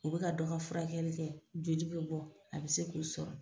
U be ka dɔ ka furakɛli kɛ joli be bɔ a be se k'u sɔrɔ